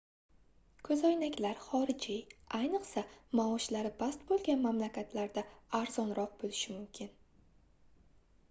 koʻzoynaklar xorijiy ayniqsa maoshlari past boʻlgan mamlakatlarda arzonroq boʻlishi mumkin